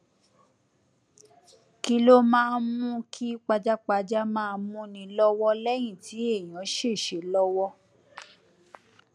kí ló máa ń mú kí pajápajá máa múni lọwọ lẹyìn tí èèyàn ṣèṣe lọwọ